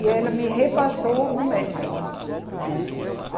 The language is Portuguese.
E ela me repassou o método, né?